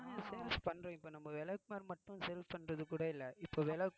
இப்ப நம்ப விளக்குமாறு மட்டும் sales பண்றது கூட இல்லை இப்ப விளக்கு~